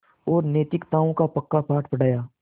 और नैतिकताओं का पक्का पाठ पढ़ाया